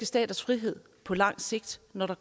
staters frihed på lang sigt når der